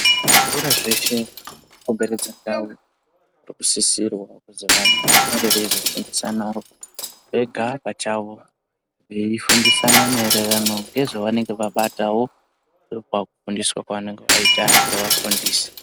Kuzvikora zveshe kukomberedza ndau kusisirwa kuti vanenge veizofundisanawo Vega pachawo veifundisana maererano nezvavanenge veibata pakufundisa pano kuti ange avafundise.